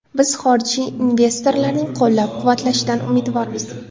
Biz xorijiy investorlarning qo‘llab-quvvatlashidan umidvormiz.